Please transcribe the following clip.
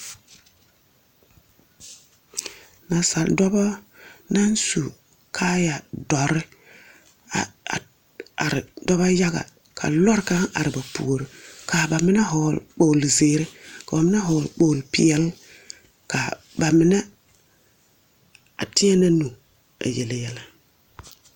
Nansadͻbͻ naŋ su kaaya dͻre a a are dͻbͻ yaga, kaa lͻre kaŋa are ba puori. Kaa ba mine vͻgeele kpogilo zeere, koo mine vͻgele kpogilo peԑle. Ka ba mine a teԑnԑ nuuri a yele yԑlԑ.